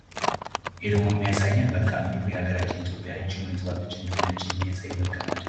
ይህ ደግሞ የሚያሳየን መልክአ ምድሩን ሀገራችን ኢትዮጵያ እጅግ የተዋበች እንደሆነች የሚያሳይ መልክአ ምድር ነው።